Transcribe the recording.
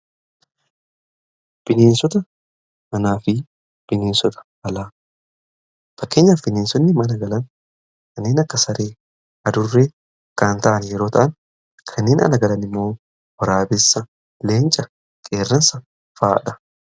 bineensota manaafi bineensota alaa, , fakkeenyaaf bineensotni mana galan kanneen akka saree adurre kan ta'an yeroo ta'an kanneen ala galan immoo waraabessa leenca qeerransa fa'adha.